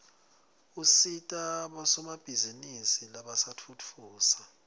usita bosomabhizinisi labasafufusa